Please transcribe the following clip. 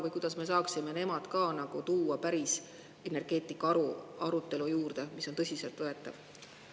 Või kuidas me saaksime nemad ka tuua päris energeetikaarutelu juurde, mis on tõsiselt võetav?